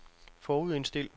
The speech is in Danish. forudindstil